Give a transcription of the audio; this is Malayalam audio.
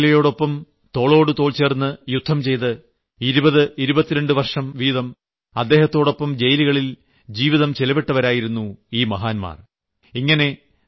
നെൽസൺ മണ്ടേലയ്ക്കൊപ്പം തോളോടുതോൾ ചേർന്ന് യുദ്ധം ചെയ്ത് 2022 വർഷംവീതം അദ്ദേഹത്തോടൊപ്പം ജയിലുകളിൽ ജീവിതം ചിലവിട്ടവരായിരുന്നു അവർ